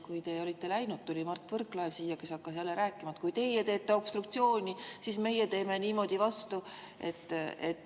Kui teie olite läinud, tuli Mart Võrklaev ja hakkas jälle rääkima, et kui teie teete obstruktsiooni, siis meie teeme niimoodi vastu.